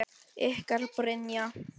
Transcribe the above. Ykkar Brynja.